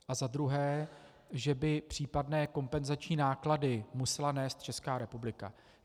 A za druhé, že by případné kompenzační náklady musela nést Česká republika.